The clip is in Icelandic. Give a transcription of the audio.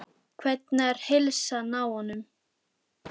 Hvernig er heilsan á honum?